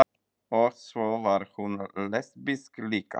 Og svo var hún lesbísk líka.